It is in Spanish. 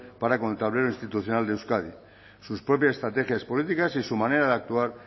para con el tablero institucional de euskadi sus propias estrategias políticas y su manera de actuar